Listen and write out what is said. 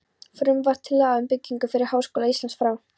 Frumvarp til laga um byggingu fyrir Háskóla Íslands, frá